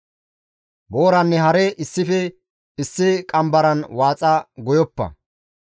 Booranne hare issife issi qambaran waaxa goyoppa.